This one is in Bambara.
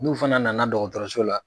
N'u fana nana dɔgɔtɔrɔso la.